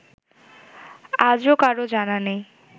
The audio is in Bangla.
আজও কারও জানা নেই